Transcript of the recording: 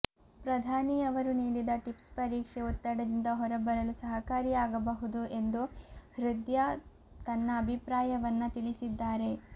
ಪ್ರಧಾನಿಯವರು ನೀಡಿದ ಟಿಪ್ಸ್ ಪರೀಕ್ಷೆ ಒತ್ತಡದಿಂದ ಹೊರಬರಲು ಸಹಕಾರಿಯಾಗಬಹುದು ಎಂದು ಹೃದ್ಯಾ ತನ್ನ ಅಭಿಪ್ರಾಯವನ್ನ ತಿಳಿಸಿದ್ದಾರೆ